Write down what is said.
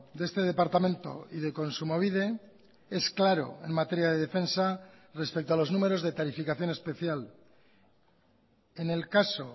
de este departamento y de kontsumobide es claro en materia de defensa respecto a los números de tarificación especial en el caso